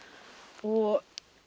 og